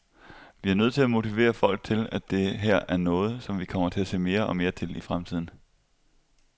Vi er nødt til at motivere folk til, at det her er noget, som vi kommer til at se mere og mere til i fremtiden.